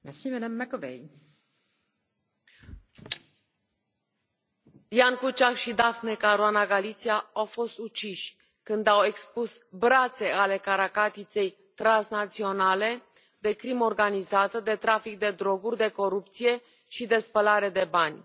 Doamna președintă, Ján Kuciak și Daphne Caruana Galizia au fost uciși când au expus brațe ale caracatiței transnaționale de crimă organizată, de trafic de droguri, de corupție și de spălare de bani.